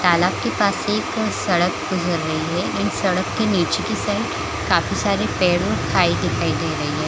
तालाब के पास से एक सड़क गुजर रही है इन सड़क के नीचे की साइड काफी सारी पेड़ और खाई दिखाई दे रही है।